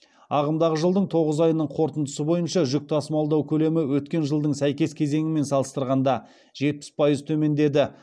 ағымдағы жылдың тоғыз айының қорытындысы бойынша жүк тасымалдау көлемі өткен жылдың сәйкес кезеңімен салыстырғанда жетпіс пайыз төмендеді